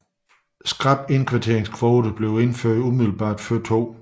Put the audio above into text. Skrappe indvandringskvoter blev indført umiddelbart før 2